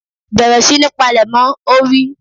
Bẹ̀rẹ̀ sí ní palẹ̀mọ́! Ó wí.